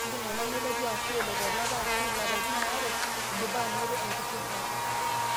Kindim ena nelotu ashu elo tolapa ashu ilapatin are indipa anoto engitirata.